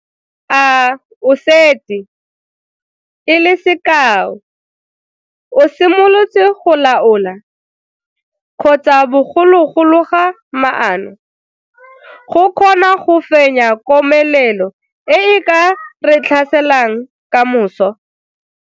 A o setse, e le sekao, o simolotse go laola, kgotsa bogolo go loga maano, go kgona go fenya komelelo e e ka re tlhaselang ka moso?